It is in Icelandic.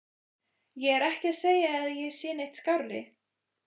Ég er ekki að segja að ég sé neitt skárri.